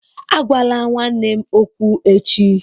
Agwala nwanne m okwu echi!